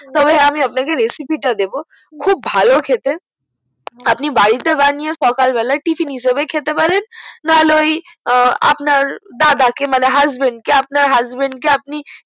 তবে আমি আপনাকে recipe টা দেবো খুব ভালো খেতে আপনি বাড়ি তে বানিয়ে সকাল বেলায় tiffin হিসাবে খেতে পারেন নাহলে ওই আপনার দাদা কে মানে husband কে আপনার husband কে আপনি